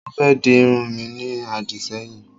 Mo fé di irun mi ní àdìṣẹ́yìn